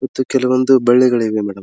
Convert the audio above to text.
ಮತ್ತು ಕೆಲಒಂದು ಬಳ್ಳಿಗಳು ಇವೆ ಮೇಡಂ .